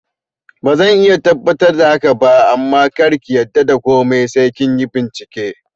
Bazan iya tabbatar da haka ba amma karki yarda da komai sai kinyi bincike